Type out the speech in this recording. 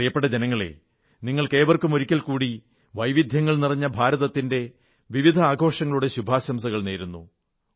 പ്രിയപ്പെട്ട ജനങ്ങളേ നിങ്ങൾക്കേവർക്കും ഒരിക്കൽ കൂടി വൈവിധ്യങ്ങൾ നിറഞ്ഞ ഭാരതത്തിന്റെ വിവിധ ആഘോഷങ്ങളുടെ ശുഭാശംസകൾ നേരുന്നു